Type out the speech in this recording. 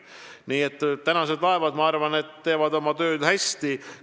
Nii et uued laevad teevad minu arvates oma tööd hästi.